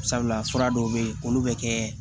Sabula fura dɔw be yen olu be kɛ